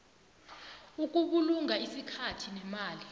ukubulunga isikhathi nemali